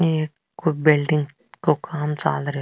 ये कोई बिल्डिंग को काम चाल रो है।